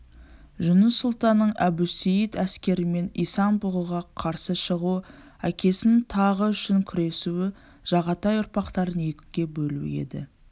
жұныс сұлтанның әбусейіт әскерімен исан-бұғыға қарсы шығуы әкесінің тағы үшін күресуі жағатай ұрпақтарын екіге бөлу еді